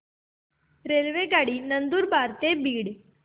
रेल्वेगाडी नंदुरबार ते बीड